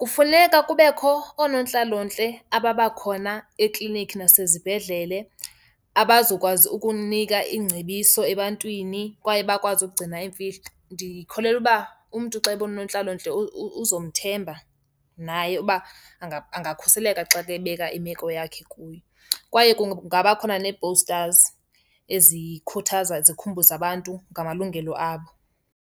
Kufuneka kubekho oonontlalontle ababakhona eklinikhi nasezibhedlele abazokwazi ukunika iingcebiso ebantwini kwaye bakwazi ukugcina iimfihlo. Ndikholelwa uba umntu xa ebona unontlalontle uzomthemba naye uba angakhuseleka xa kebeka imeko yakhe kuye. Kwaye kungaba khona nee-posters ezikhuthaza, zikhumbuze abantu ngamalungelo abo.